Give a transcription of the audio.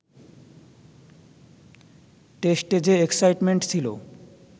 টেস্টে যে এক্সসাইটমেন্ট ছিল